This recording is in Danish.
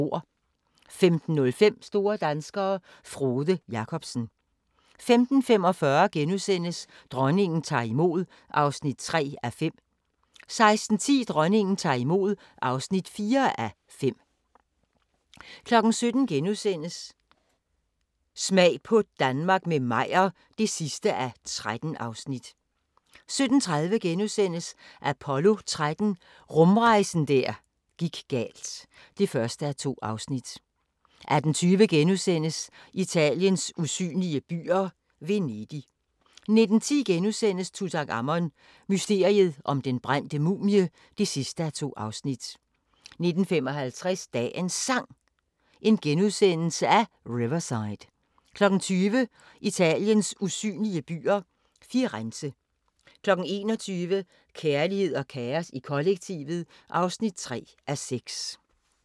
15:05: Store danskere - Frode Jakobsen 15:45: Dronningen tager imod (3:5)* 16:10: Dronningen tager imod (4:5) 17:00: Smag på Danmark – med Meyer (13:13)* 17:30: Apollo 13 – rumrejsen der gik galt (1:2)* 18:20: Italiens usynlige byer - Venedig * 19:10: Tutankhamon: Mysteriet om den brændte mumie (2:2)* 19:55: Dagens Sang: Riverside * 20:00: Italiens usynlige byer – Firenze 21:00: Kærlighed og kaos i kollektivet (3:6)